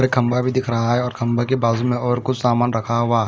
और खम्बा भी दिख रहा है और खम्बे के बाजू में और कुछ सामान रखा हुआ है।